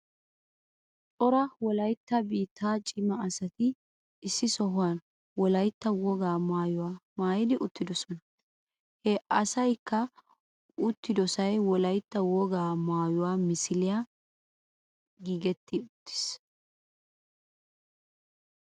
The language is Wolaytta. Cora wolaytta biittaa cima asati issi sohuwan wolaytta woga maayuwa maayidi uttidosona. He asaykka uttidosaay wolaytta woga maayuwa misiliyan giggidi uttis.